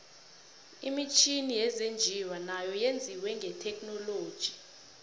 imitjhini yezinjiwa nayo yenziwe ngethekhinoiloji